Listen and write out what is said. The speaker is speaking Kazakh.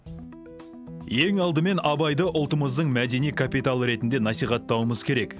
ең алдымен абайды ұлтымыздың мәдени капиталы ретінде насихаттауымыз керек